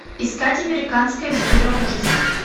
искать американская история ужасов